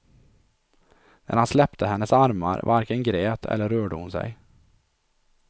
När han släppte hennes armar varken grät eller rörde hon sig.